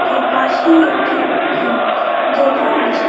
তার পাশেই একটি দোলনাও আছে।